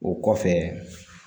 O kɔfɛ